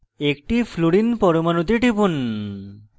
একটি fluorine পরমাণুতে টিপুন